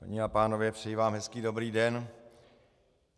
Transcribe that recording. Dámy a pánové, přeji vám hezký dobrý den.